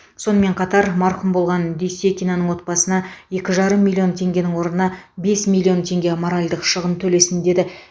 сонымен қатар марқұм болған дүйсекинаның отбасына екі жарым миллион теңгенің орнына бес миллион теңге моральдық шығын төлесін деді